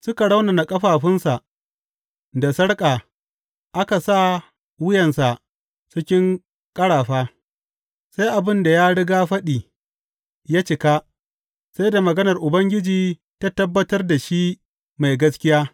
Suka raunana ƙafafunsa da sarƙa aka sa wuyansa cikin ƙarafa, sai abin da ya rigafaɗi ya cika sai da maganar Ubangiji ta tabbatar da shi mai gaskiya.